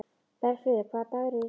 Bergfríður, hvaða dagur er í dag?